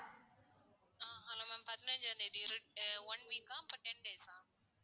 ஆஹ் hello ma'am பதினைஞ்சாம் தேதி ரெண்~ one week கா for ten days ஆ?